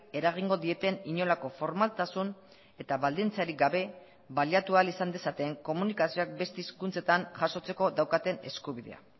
eragingo dieten inolako formaltasun eta baldintzarik gabe baliatu ahal izan dezaten komunikazioak beste hizkuntzetan jasotzeko daukaten eskubidea